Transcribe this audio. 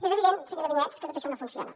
és evident senyora vinyets que tot això no funciona